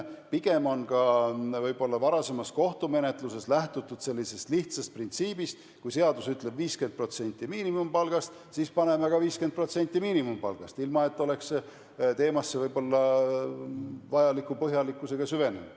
Pigem on varasemas kohtumenetluses lähtutud sellisest lihtsast printsiibist: kui seadus ütleb 50% miinimumpalgast, siis paneme ka 50% miinimumpalgast, ilma et oleks teemasse vajaliku põhjalikkusega süvenetud.